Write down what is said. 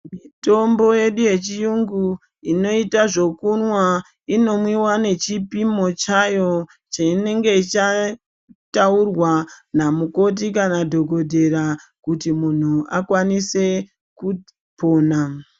Mitombo yedu yechi yungu inoita zvekunwa ino mwiwa nechi pimwo chayo chinenge cha taurwa na mukoti kana dhokotera kuti munhu akwanise kupona.